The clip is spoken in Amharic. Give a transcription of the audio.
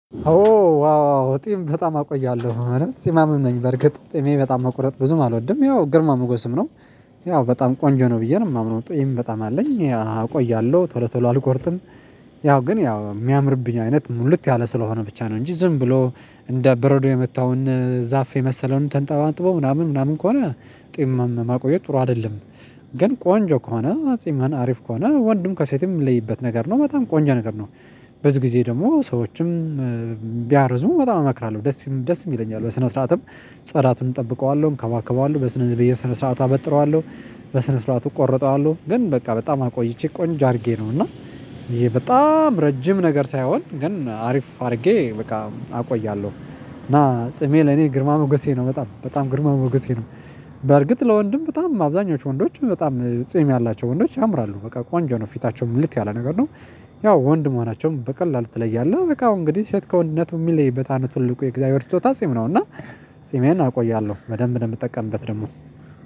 ኦ ዋው ጺም በጣም አቆያለሁ የእውነት ጺማምም ነኝ በርግጥ ጺሜ በጣም መቁረጥ ብዙም አልወድም ያው ግርማ ሞገስም ነው። ያው በጣም ቆንጆ ነው ብዬ ነው የማምነው ጢም በጣም አለኝ ያ አቆያለሁ ቶሎ ቶሎ አልቆርጥም። ያው ግን ያው የሚያምርብኝ አይነት ነው ልክ ያለ ስለሆነ ብቻ ነው እንጂ ዝም ብሎ እንደ በረዶ የመታውን ዛፍ የመሰለውን ተንጠባጥቦ ምናምን ምናምን ከሆነ ጢም ማቆየት ጥሩ አይደለም። ግን ቆንጆ ከሆነ ጺምን አሪፍ ከሆነ ወንድም ከሴትም የሚለይበት ነገር ነው በጣም ቆንጆ ነገር ነው። በዚህ ጊዜ ደግሞ ሰዎችም ቢያርዙ በጣም እመክራለሁ ደስ ደስ ይለኛል በስነ ስርዓትም ጽዳቱን እጠብቀዋለሁ እንከባከባለሁ በስነ በየስነ ስርዓት አበጥረዋለሁ። በስነ ስርዓቱ እቆርጠዋለሁ ግን በቃ በጣም አቆይቼ ቆንጆ አድርጌ ነው እና ይሄ በጣም ረጅም ነገር ሳይሆን ግን አሪፍ አርጌ በቃ አቆያለሁ። እና ጺሜ ለኔ ግርማ ሞገሴ ነው በጣም በጣም ግርማ ሞገሴ ነው። በእርግጥ ለወንድም በጣም አብዛኞቹ ወንዶች በጣም ጺም ያላቸው ወንዶች ያምራሉ በቃ ቆንጆ ነው ፊታቸው ሙልት ያለ ነገር ነው። ያው ወንድ መሆናቸውም በቀላሉ ትለያለህ በቃ አሁን እንግዲህ ሴት ከወንድነቱ የሚለይበት ትልቁ የእግዚአብሔር ስጦታ ጺም ነው። እና ጺሜዬን አቆያለሁ በደንብ ነው የምጠቀምበት ደግሞ።